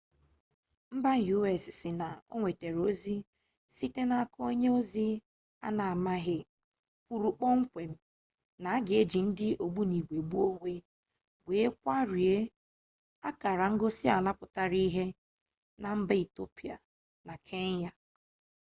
mba u.s sị na o nwetara ozi site n'aka onye ozi a na amaghị kwuru kpọmkwem na a ga eji ndị ogbunigwe gbuo onwe were gbarie akara ngosi ala pụtara ihe na mba etiopia na kenya